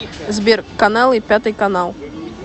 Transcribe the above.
сбер каналы пятый канал